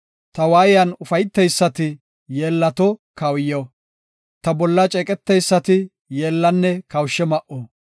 Ta waayan ufayteysati, yeellato, kawuyo; ta bolla ceeqeteysati yeellanne kawushe ma7o.